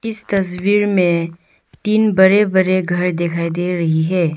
इस तस्वीर में तीन बरे बरे घर दिखाई दे रही है।